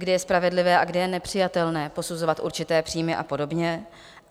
- kdy je spravedlivé a kdy je nepřijatelné posuzovat určité příjmy a podobně.